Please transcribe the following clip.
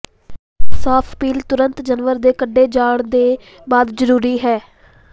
ਸਾਫ਼ ਪੀਲ ਤੁਰੰਤ ਜਾਨਵਰ ਦੇ ਕੱਟੇ ਜਾਣ ਦੇ ਬਾਅਦ ਜ਼ਰੂਰੀ ਹੈ